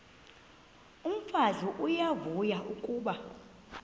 umfazi uyavuya kuba